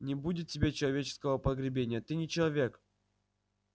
не будет тебе человеческого погребения ты не человек